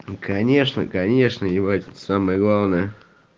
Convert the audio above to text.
ну конечно конечно ебать самое главное